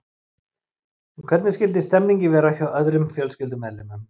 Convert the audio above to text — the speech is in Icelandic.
En hvernig skyldi stemningin vera hjá öðrum fjölskyldumeðlimum?